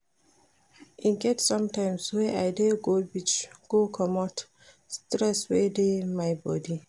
E get sometimes wey I dey go beach go comot stress wey dey my bodi.